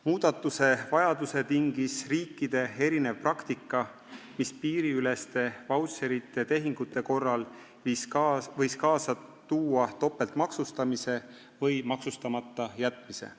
Muudatuste vajaduse tingis riikide erinev praktika, mis piiriüleste vautšerite tehingute korral võis kaasa tuua topeltmaksustamise või maksustamata jätmise.